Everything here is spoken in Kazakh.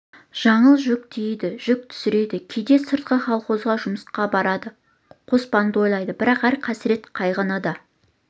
жаңыл жүк тиейді жүк түсіреді кейде сыртқа колхозға жұмысқа барады қоспанды ойлайды бірақ әр қасірет-қайғының да